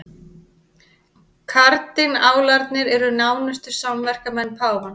Kardinálarnir eru nánustu samverkamenn páfans